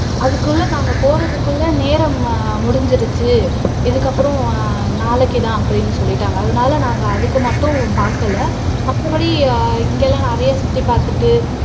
அதுக்குள்ள நாங்க போறதுக்குள்ள நேரம் முடிஞ்சுருச்சு இதுக்கு அப்பறம் நாளைக்கு தான் அப்படின்னு சொல்லிட்டாங்க அதனால நாங்க அதுக்கு மட்டும் பாக்கல மத்தபடி இங்க எல்லாம் நிறைய சுத்தி பாத்துட்டு